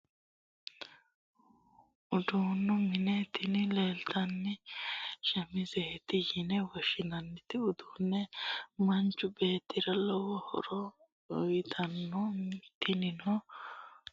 Uduu'nu mine, tini leellitanoti shamizete yine woshinanni, udano manchu beetira lowo horo uuyitanno tinino manchu udire fulate muli'ma di'phano gedenna qiida garigafhano gede kalitanno